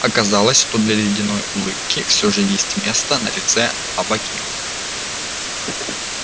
оказалось что для ледяной улыбки всё же есть место на лице авакима